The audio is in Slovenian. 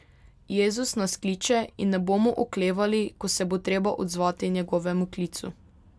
Jezus nas kliče in ne bomo oklevali, ko se bo treba odzvati njegovemu klicu.